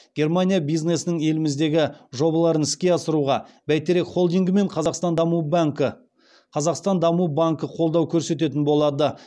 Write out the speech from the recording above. германия бизнесінің еліміздегі жобаларын іске асыруға бәйтерек холдингі мен қазақстан даму банкі қолдау көрсететін болады